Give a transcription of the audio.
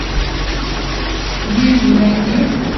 бивень найди